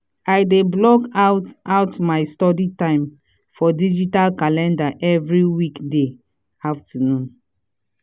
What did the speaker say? i dey block out out my study time for digital calender every weekday afternoon.